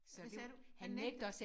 Hvad hvad sagde du? Han nægter